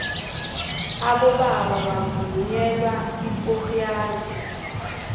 abobaba bavunula ipoxiyane